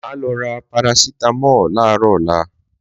Máa lọ ra Parasítámọ̀ láarọ̀ ọlá